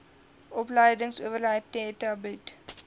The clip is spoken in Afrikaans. opleidingsowerheid theta bied